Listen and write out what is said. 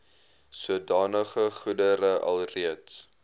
sodanige goedere alreeds